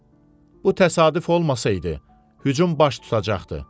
Bu təsadüf olmasaydı, hücum baş tutacaqdı.